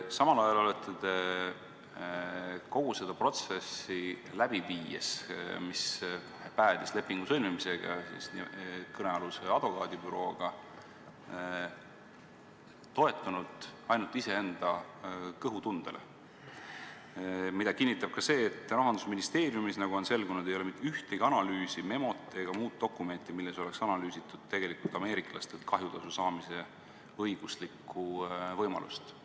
Samal ajal olete te kogu seda protsessi, mis päädis kõnealuse advokaadibürooga lepingu sõlmimisega, läbi viies toetunud ainult iseenda kõhutundele, mida kinnitab ka see, et Rahandusministeeriumis, nagu on selgunud, ei ole mitte ühtegi analüüsi, memot ega muud dokumenti, milles oleks tegelikult analüüsitud ameeriklastelt kahjutasu saamise õiguslikku võimalust.